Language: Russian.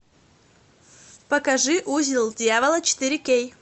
покажи узел дьявола четыре кей